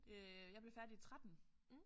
Øh jeg blev færdig i 13